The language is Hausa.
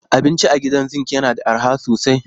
Abinci a Gidan Zinc yana da arha sosai